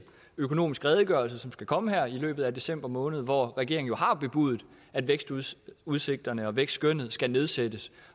økonomiske redegørelse som skal komme her i løbet af december måned hvor regeringen jo har bebudet at vækstudsigterne og vækstskønnet skal nedsættes